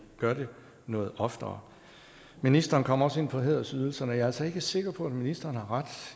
gør det noget oftere ministeren kom også ind på hædersydelserne og jeg er altså ikke sikker på at ministeren har ret